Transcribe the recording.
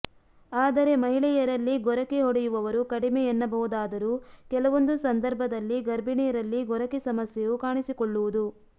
ಆದರೆ ಮಹಿಳೆಯರಲ್ಲಿ ಗೊರಕೆ ಹೊಡೆಯುವವರು ಕಡಿಮೆ ಎನ್ನಬಹುದಾದರೂ ಕೆಲವೊಂದು ಸಂದರ್ಭದಲ್ಲಿ ಗರ್ಭಿಣಿಯರಲ್ಲಿ ಗೊರಕೆ ಸಮಸ್ಯೆಯು ಕಾಣಿಸಿಕೊಳ್ಳುವುದು